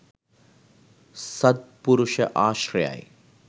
සද්පුරුෂ ආශ්‍රයයි.